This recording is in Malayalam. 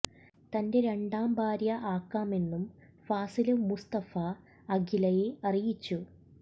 തന്റെ രണ്ടാം ഭാര്യ ആക്കാമെന്നും ഫാസില് മുസ്തഫ അഖിലയെ അറിയിച്ചു